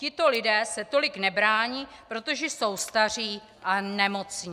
Tito lidé se tolik nebrání, protože jsou staří a nemocní.